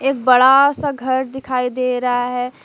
बड़ा सा घर दिखाई दे रहा है।